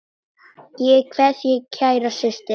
Ég kveð þig kæra systir.